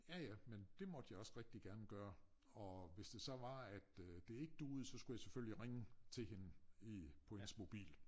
Ja ja men det måtte jeg også rigtig gerne gøre og hvis det så var at øh de ikke duede så skulle jeg selvfølgelig ringe til hende i på hendes mobil